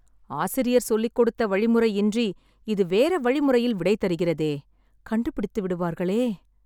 ஆசிரியர் சொல்லிக் கொடுத்த வழிமுறை இன்றி இது வேற வழிமுறையில் விடை தருகிறதே.. கண்டுபிடித்து விடுவார்களே